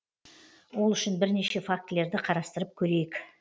ол үшін бірнеше фактілерді қарастырып көрейік